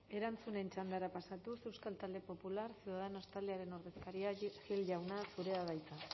erantzunen txandara pasatuz euskal talde popular ciudadanos taldearen ordezkaria gil jauna zurea da hitza